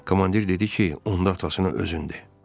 Komandir dedi ki, onda atasına özün de.